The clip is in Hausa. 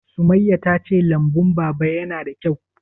Sumayya ta ce lambun Baba ya na da kyau?